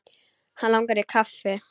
Hann langar í kaffi.